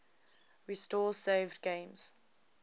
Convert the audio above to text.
restore saved games